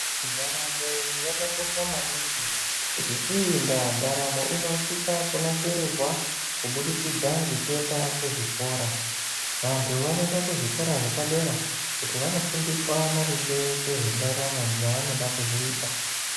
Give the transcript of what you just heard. Ndaramo yakakosha maningi ngeiyi ndaa ndaramo inosisa kunasirirwa kubudikidza ngekuenda kuzvikora ,vantu vanoenda kuzvikora zvepadera kuti vanofundiswe maringe ngezvendaramo yavanode kuzoita.